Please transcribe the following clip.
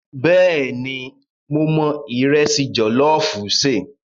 Bẹ́ẹ̀ni, mo mọ ìrẹsì jọ̀lọ́ọ̀fù ṣe.